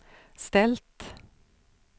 ställt